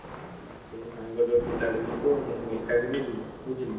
ହୁଁ ସେଇ ସାଙ୍ଗର ପିଲାଟେ ଯିବ ମୁଁ ଏକା ଯିବ ବୁଝିଲୁ ବୁଝିଲୁ।